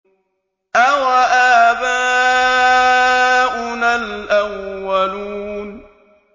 أَوَآبَاؤُنَا الْأَوَّلُونَ